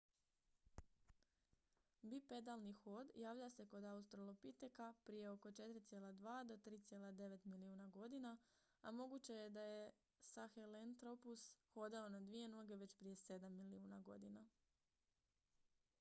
bipedalni hod javlja se kod australopiteka prije oko 4,2 - 3,9 milijuna godina a moguće je da je sahelanthropus hodao na dvije noge već prije sedam milijuna godina